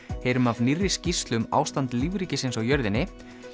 heyrum af nýrri skýrslu um ástand lífríkisins á jörðinni